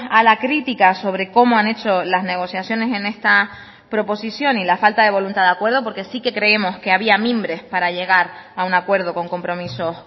a la crítica sobre como han hecho las negociaciones en esta proposición y la falta de voluntad de acuerdo porque sí que creemos que había mimbres para llegar a un acuerdo con compromisos